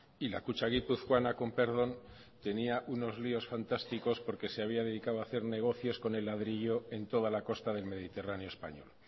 y la kutxa guipuzcoana con perdón tenía unos líos fantásticos porque se había dedicado a hacer negocios con el ladrillo en toda la costa del mediterráneo español